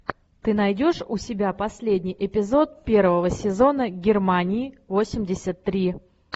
ты найдешь у себя последний эпизод первого сезона германии восемьдесят три